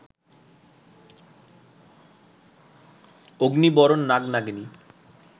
অগ্নি-বরণ নাগ-নাগিনী